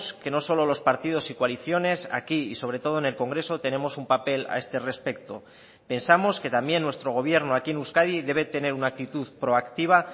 que no solo los partidos y coaliciones aquí y sobre todo en el congreso tenemos un papel a este respecto pensamos que también nuestro gobierno aquí en euskadi debe tener una actitud proactiva